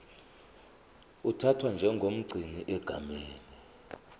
uthathwa njengomgcini egameni